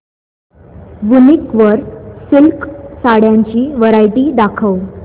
वूनिक वर सिल्क साड्यांची वरायटी दाखव